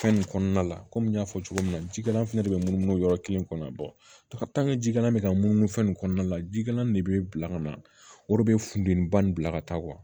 Fɛn nin kɔnɔna la komi n y'a fɔ cogo min na jikalan fɛnɛ de be munumunu yɔrɔ kelen kɔnɔ jikalan bɛ ka munumunu fɛn nin kɔnɔna la jikalanin de bɛ bila ka na o de bɛ funteni ba nin bila ka taa